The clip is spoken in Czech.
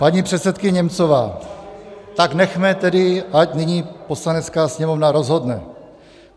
Paní předsedkyně Němcová: "Tak nechme tedy, ať nyní Poslanecká sněmovna rozhodne.